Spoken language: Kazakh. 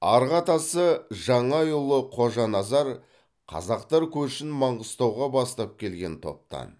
арғы атасы жаңайұлы қожаназар қазақтар көшін маңғыстауға бастап келген топтан